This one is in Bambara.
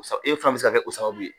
K'a sɔrɔ e fana bɛ se ka kɛ o sababu ye.